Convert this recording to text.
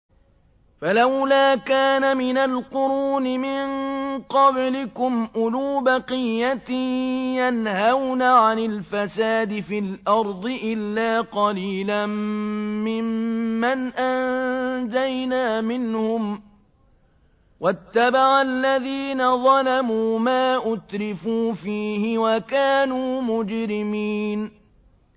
فَلَوْلَا كَانَ مِنَ الْقُرُونِ مِن قَبْلِكُمْ أُولُو بَقِيَّةٍ يَنْهَوْنَ عَنِ الْفَسَادِ فِي الْأَرْضِ إِلَّا قَلِيلًا مِّمَّنْ أَنجَيْنَا مِنْهُمْ ۗ وَاتَّبَعَ الَّذِينَ ظَلَمُوا مَا أُتْرِفُوا فِيهِ وَكَانُوا مُجْرِمِينَ